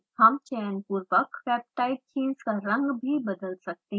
हम चयनपुर्वक peptide chains का रंग भी बदल सकते हैं